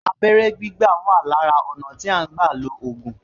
Abẹ́rẹ́ gbígbà wà lára ọ̀nà tí à ń gbà lo ògùn